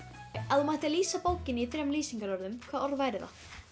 ef þú mættir lýsa bókinni í þremur lýsingarorðum hver væru þau